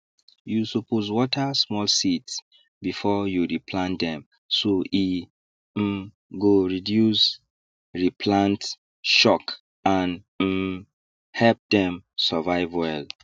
you suppose water small seeds before you re plant dem so e um go reduce re plant shock and um help dem survive well